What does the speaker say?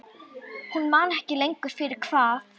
Hún man ekki lengur fyrir hvað.